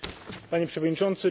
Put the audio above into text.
Panie Przewodniczący!